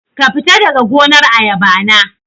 Kafita daga gonar ayaba na